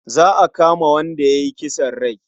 Za a kama wanda ya yi kisan kai.